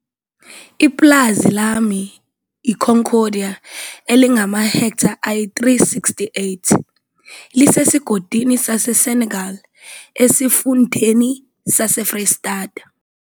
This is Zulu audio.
Ipulazi lami, iConcordia elingamahektha ayi-368, lisesigodini saseSenekal, esifundeni saseFreyistata.